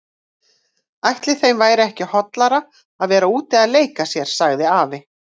Ætli þeim væri ekki hollara að vera úti að leika sér sagði afi.